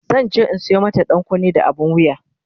zanje in Sayo mata ɗankunne da abun wuya